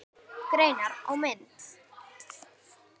Greinar og mynd